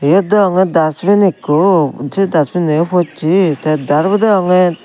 yot degonge dusbin ikko che dusbin no yo pocche te darbo degonge.